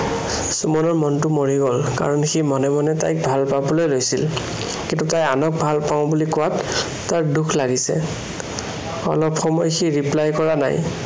সুমনৰ মনটো মৰি গল। কাৰন সি মনে মনে তাইক ভালপাৱলৈ লৈছিল। কিন্তু তাই আনক ভালপাওঁ বুলি কোৱাত দুখ লাগিছে অলপ সময় reply কৰা নাই।